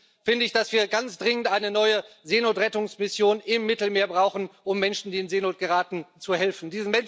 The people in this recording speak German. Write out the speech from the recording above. Deswegen finde ich, dass wir ganz dringend eine neue Seenotrettungsmission im Mittelmeer brauchen, um Menschen, die in Seenot geraten, zu helfen.